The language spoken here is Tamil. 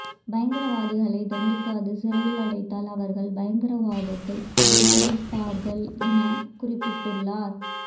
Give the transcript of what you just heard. பயங்கரவாதிகளை தண்டிக்காது சிறையில் அடைத்தால் அவர்கள் பயங்கரவாதத்தை வியாபிப்பார்கள் என குறிப்பிட்டுள்ளார்